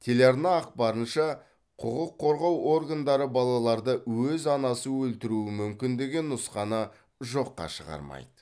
телеарна ақпарынша құқық қорғау органдары балаларды өз анасы өлтіруі мүмкін деген нұсқаны жоққа шығармайды